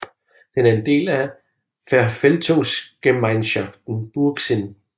Den er en del af Verwaltungsgemeinschaft Burgsinn